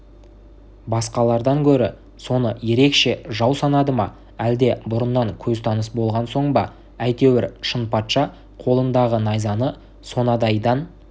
басқалардан гөрі соны ерекше жау санады ма әлде бұрыннан көзтаныс болған соң ба әйтеуір шынпатша қолындағы найзаны сонадайдан